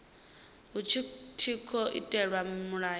hu tshi tkhou itelwa mulayo